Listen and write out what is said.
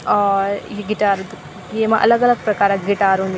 और यी गिटार येमा अलग-अलग प्रकार क गिटार हुन्दी।